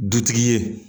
Dutigi ye